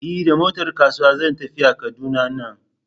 E, da motar kasuwa zan tafiya Kaduna nan.